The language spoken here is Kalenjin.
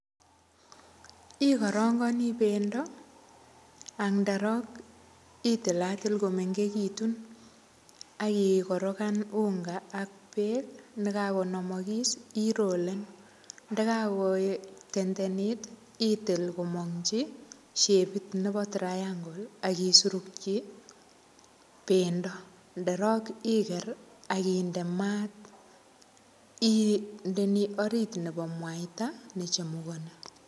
Ikarangani pendo, anderok, itilatil komengechitun, akikorokan unga ak beek. Ndekakonamakis irolen. Ndekakotendenit, itil komangchi shepit nebo triangle, akisurukchi pendo. Ndarok iker, akinde maat, indeni orit nebo mwaita nechemukani.